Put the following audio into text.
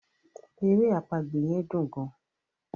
èrè àpagbè yen dùn gaan.